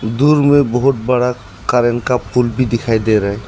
दूर में बहोत बड़ा करंट का पुल भी दिखाई दे रहा --